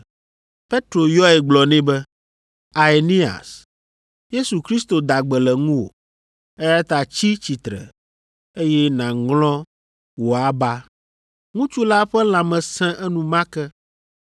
Petro yɔe gblɔ nɛ be, “Aeneas, Yesu Kristo da gbe le ŋuwò, eya ta tsi tsitre, eye nàŋlɔ wò aba.” Ŋutsu la ƒe lãme sẽ enumake.